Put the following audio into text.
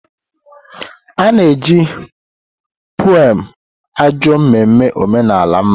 Ana-eji bụ pụem ajọ mmemme omenala mma.